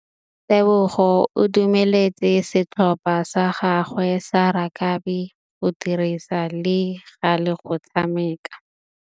Tebogô o dumeletse setlhopha sa gagwe sa rakabi go dirisa le galê go tshameka.